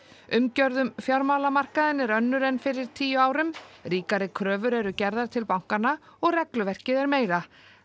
umgjörð um fjármálamarkaðinn er önnur en fyrir tíu árum ríkari kröfur eru gerðar til bankanna og regluverkið er meira